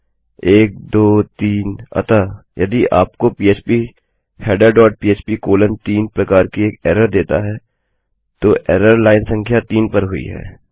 1 2 3 अतः यदि यह आपको फीडर डॉट पह्प कोलोन 3 प्रकार की एक एरर देता है तो एरर लाइन संख्या 3 पर हुई है